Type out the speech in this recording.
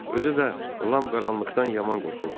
Özü də Lam qaranlıqdan yaman qorxurdu.